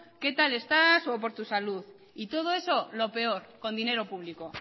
qué tal estás o por tu salud y todo eso lo peor con dinero público